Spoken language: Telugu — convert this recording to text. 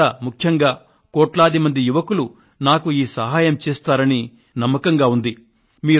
మీరంతా ముఖ్యంగా కోట్లాది యువతరం నాకు ఈ సహాయం చేస్తారని నాకు నమ్మకం ఉంది